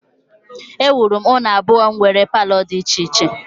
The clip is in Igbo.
Ewuru m ụlọ abụọ nwere palọ dị iche iche